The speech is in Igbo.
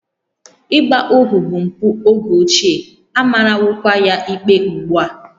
Ịgba ohu bụ mpụ oge ochie, a marawokwa ya ikpe ugbu a